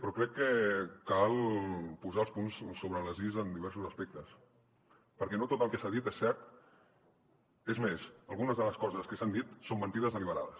però crec que cal posar els punts sobre les is en diversos aspectes perquè no tot el que s’ha dit és cert és més algunes de les coses que s’han dit són mentides deliberades